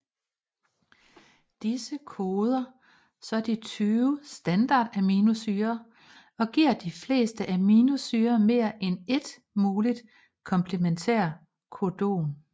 Disse koder så de tyve standardaminosyrer og giver de fleste aminosyrer mere end ét muligt komplementært codon